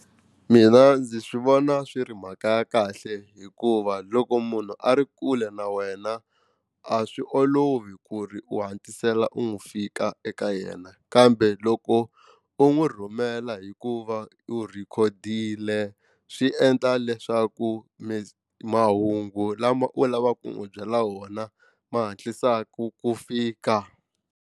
Mina ndzi swi vona swi ri mhaka ya kahle hikuva loko munhu a ri kule na wena a swi olovi ku ri u hatlisela u n'wi fika eka yena kambe loko u n'wi rhumela hikuva u rhikhodile swi endla leswaku mi mahungu lama u lavaka ku n'wu byela wona ma hatlisaka ku fika.